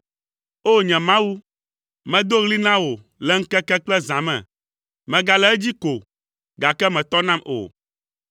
O! Nye Mawu, medo ɣli na wò le ŋkeke kple zã me; megale edzi ko, gake mètɔ nam o.